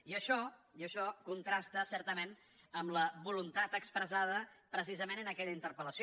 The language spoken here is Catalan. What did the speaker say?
i això contrasta certament amb la voluntat expres·sada precisament en aquella interpel·lació